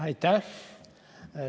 Aitäh!